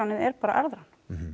er bara arðrán